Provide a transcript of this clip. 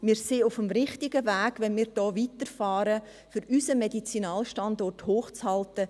Wir sind auf dem richtigen Weg, wenn wir hier weiterfahren, um unseren Medizinalstandort hochzuhalten.